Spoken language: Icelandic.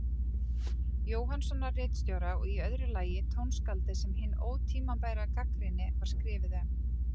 Jóhannssonar ritstjóra, og í öðru lagi tónskáldið sem hin ótímabæra gagnrýni var skrifuð um.